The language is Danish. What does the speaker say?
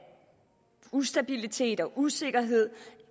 ustabilitet og usikkerhed